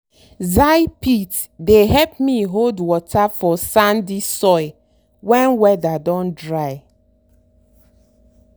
zai pit dey help me hold water for sandy soil when weather don dry.